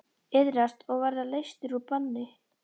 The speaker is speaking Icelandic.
Iðrast og verða leystur úr banni.